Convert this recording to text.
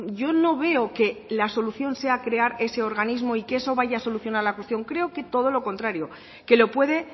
yo no veo que la solución sea crear ese organismo y que eso vaya a solucionar la cuestión creo que todo los contrario que lo puede